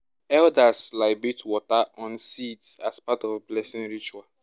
libate water on seeds as part of blessing ritual